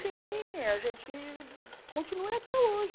Sim, a gente continua e até hoje.